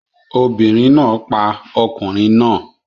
Obìnrin náà pa ọkùnrin náà